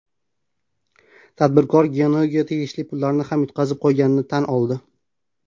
Tadbirkor Gionee’ga tegishli pullarni ham yutqazib qo‘yganini tan oldi.